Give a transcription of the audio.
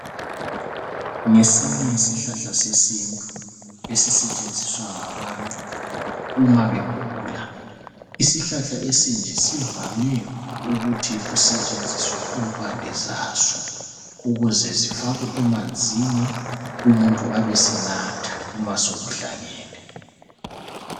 Ngesinye isihlahla sesintu esisetshenziswa ngabantu uma begula. Isihlahla esinje kuvamwe ukuthi kusentshenziswe impande zaso ukuze zifakwe emanzini umuntu abesenatha, uma sokuhlangane.